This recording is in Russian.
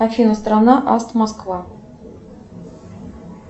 афина страна аст москва